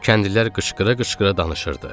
Kəndlilər qışqıra-qışqıra danışırdı.